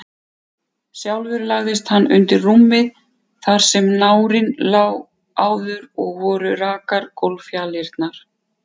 Sjálfur lagðist hann undir rúmið þar sem nárinn lá áður, og voru rakar gólffjalirnar.